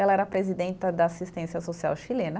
Ela era presidenta da assistência social chilena.